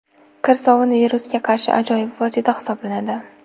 Kir sovun virusga qarshi ajoyib vosita hisoblanadi.